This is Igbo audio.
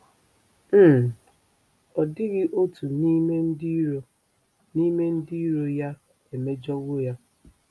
um Ọ dịghị otu n'ime ndị iro n'ime ndị iro ya emejọwo ya.